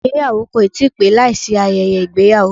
Ìgbéyàwó kò ti pé láìsí ayẹyẹ ìgbéyàwó